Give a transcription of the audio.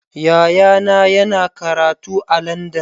Yayana yana karatu a Landan.